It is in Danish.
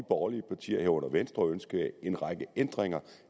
borgerlige partier herunder venstre ønskede en række ændringer